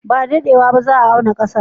Ba da daɗewa ba zan auna ƙasar.